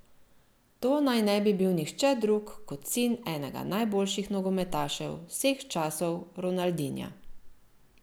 To naj ne bi bil nihče drug kot sin enega najboljših nogometašev vseh časov Ronaldinha.